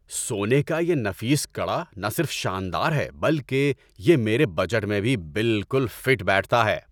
سونے کا یہ نفیس کڑا نہ صرف شاندار ہے بلکہ یہ میرے بجٹ میں بھی بالکل فٹ بیٹھتا ہے۔